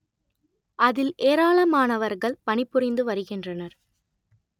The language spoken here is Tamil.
அதில் ஏராளமானவர்கள் பணி புரிந்து வருகின்றனர்